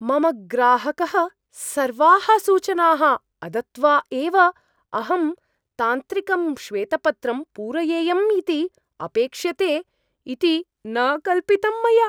मम ग्राहकः सर्वाः सूचनाः अदत्त्वा एव अहं तांत्रिकं श्वेतपत्रं पूरयेयमिति अपेक्ष्यते इति न कल्पितम् मया।